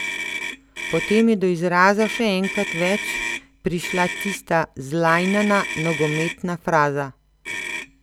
Potem je do izraza še enkrat več prišla tista zlajnana nogometna fraza.